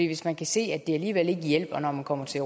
hvis man kan se at det alligevel ikke hjælper når man kommer til